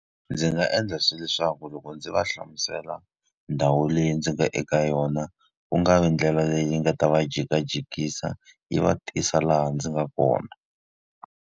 Ndzi nga endla leswaku loko ndzi va hlamusela ndhawu leyi ndzi nga eka yona, ku nga vi ndlela leyi nga ta va jikajikisa, yi va tisa laha ndzi nga kona.